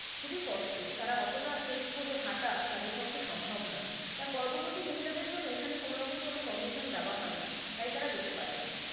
খুবই কষ্ট তারা অতটা trek করে হাঁটা তাদের পক্ষে সম্ভব না তার গর্ববর্তী মহিলা দেড় জন্য এখানে কোনো রকম কোনো permission দেওয়া হয়না তাই তারা যেতে পারে না।